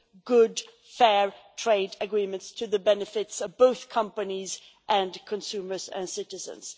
good, fair trade agreements to the benefit of companies, consumers and citizens.